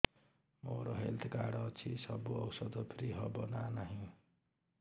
ମୋର health card ଅଛି ସବୁ ଔଷଧ ଫ୍ରି ହବ ନା ନାହିଁ